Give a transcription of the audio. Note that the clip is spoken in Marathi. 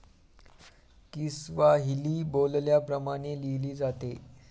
किस्वाहिली बोलल्या प्रमाणे लिहिली जाते.